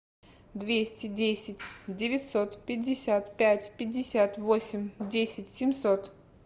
двести десять девятьсот пятьдесят пять пятьдесят восемь десять семьсот